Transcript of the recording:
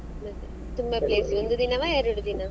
ಮತ್ತೆ ತುಂಬ ಒಂದು ದಿನವ ಎರಡು ದಿನವಾ?